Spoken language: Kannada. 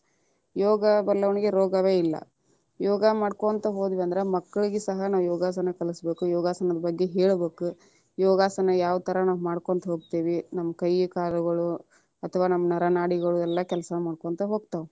ಯೋಗಾ ಬಲ್ಲವನಿಗೆ ರೋಗವೇ ಇಲ್ಲ, ಯೋಗ ಮಾಡ್ಕೊಂತ ಹೋದ್ವಿ ಅಂದ್ರ ಮಕ್ಕಳಿಗೆ ಸಹ ಯೋಗಾಸನ ಕಲಸಬೇಕ ಯೋಗಾಸನದ ಬಗ್ಗೆ ಹೇಳಬೇಕ, ಯೋಗಾಸನ ಯಾವತರ ನಾವ್ ಯಾರ್ ತರ ಮಾಡ್ಕೊಂತ ಹೋಗ್ತೇವಿ ನಮ್ಮ ಕೈ ಕಾಲಗಳು ಅಥವಾ ನಮ್ಮ ನರ ನಾಡಿಗಳು ಎಲ್ಲಾ ಕೆಲಸಾ ಮಾಡ್ಕೊಂತ ಹೋಗ್ತಾವ.